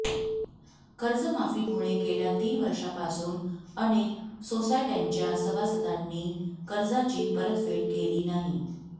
कर्जमाफीमुळे गेल्या तीन वर्षांपासून अनेक सोसायट्यांच्या सभासदांनी कर्जाची परतफेड केली नाही